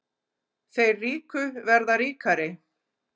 Þeir ríku verða ríkari